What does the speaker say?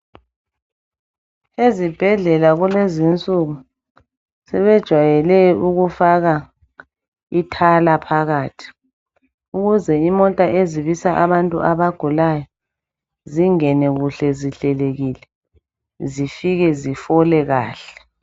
Ezibheldlela kulezi nsuku sebejwayele ukufaka ithala phakathi ukuze imota ezibisa abantu abagulayo zingene kuhle zihlelekile zifike zifole kahle.